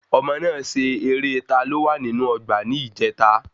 Àwọn ọmọ náà ṣe eré"Taló wa nínú ọgbà"ní ìjèta